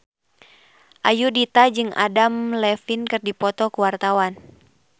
Ayudhita jeung Adam Levine keur dipoto ku wartawan